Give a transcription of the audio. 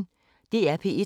DR P1